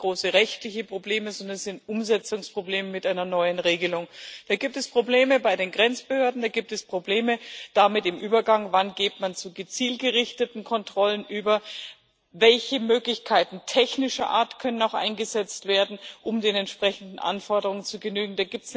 Das sind nicht große rechtliche Probleme, sondern es sind Umsetzungsprobleme mit einer neuen Regelung. Da gibt es Probleme bei den Grenzbehörden, da gibt es Probleme mit dem Übergang Wann geht man zu zielgerichteten Kontrollen über, welche Möglichkeiten technischer Art können auch eingesetzt werden, um den entsprechenden Anforderungen zu genügen?